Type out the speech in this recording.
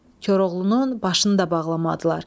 Koroğlunun başını da bağlamadılar.